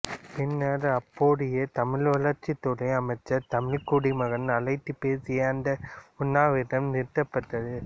பின்னர் அப்போதைய தமிழ் வளர்ச்சித் துறை அமைச்சர் தமிழ்க்குடிமகன் அழைத்துப் பேசி அந்த உண்ணாவிரதம் நிறுத்தப்பட்டது